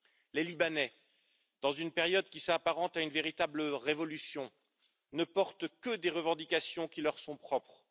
Les Libanais, dans une période qui s'apparente à une véritable révolution, ne portent que des revendications qui leur sont propres.